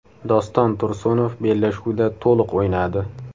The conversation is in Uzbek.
Doston Tursunov bellashuvda to‘liq o‘ynadi.